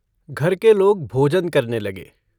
घर के लोग भोजन करने लगे।